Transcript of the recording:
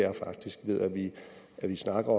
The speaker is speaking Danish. er faktisk at vi snakker